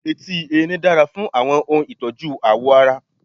Etí Erin dára fún àwọn ohun ìtọ́jú ààwọ̀ ara.